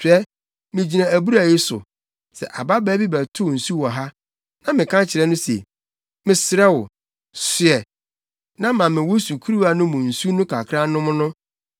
Hwɛ, migyina abura yi so. Sɛ ababaa bi bɛtow nsu wɔ ha, na meka kyerɛ no se, “Mesrɛ wo, soɛ na ma me wo sukuruwa no mu nsu no kakra nnom” no,